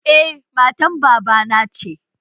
Eh, matan baba na ce